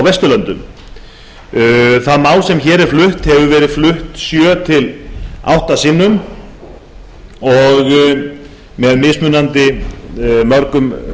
vesturlöndum það mál sem hér er flutt hefur verið flutt sjö til átta sinnum og með mismunandi mörgum